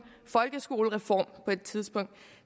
folkeskolereform på et tidspunkt